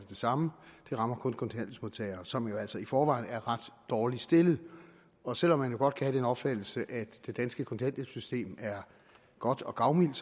det samme det rammer kun kontanthjælpsmodtagere som jo altså i forvejen er ret dårligt stillet og selv om man jo godt kan have den opfattelse at det danske kontanthjælpssystem er godt og gavmildt